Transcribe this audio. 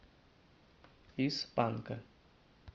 из панка